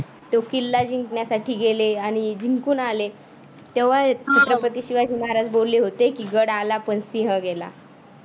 तो किल्ला जिंकण्यासाठी गेले आणि जिंकून आले. तेव्हा छत्रपती शिवाजी महाराज बोलले होते गड आला पण सिंह गेला.